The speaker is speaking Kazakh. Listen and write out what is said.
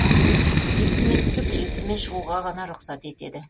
лифтімен түсіп лифтімен шығуға ғана рұқсат етеді